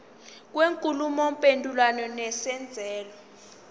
kwenkulumo mpendulwano nesenzeko